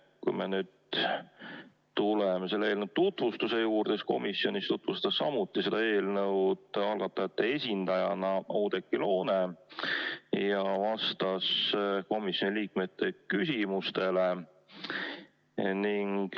Kui me tuleme selle eelnõu tutvustuse juurde, siis komisjonis tutvustas seda eelnõu samuti algatajate esindaja Oudekki Loone ja ta vastas ka komisjoni liikmete küsimustele.